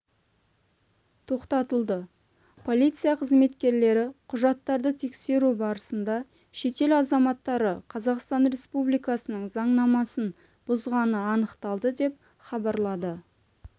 тоқтатылды полиция қызметкерлері құжаттарды тексеру барысында шетел азаматтары қазақстан республикасының заңнамасын бұзғаны анықталды деп хабарлады